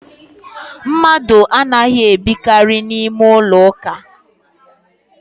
Mmadụ anaghi ebikari n’ime ụlọ ụka